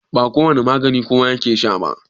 ba kowane magani kowa yake Sha ba